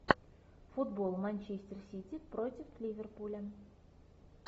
футбол манчестер сити против ливерпуля